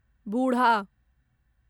बुढ़ा